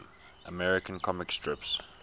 american comic strips